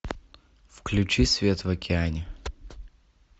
включи свет в океане